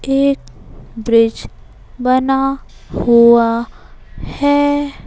एक ब्रिज बना हुआ है।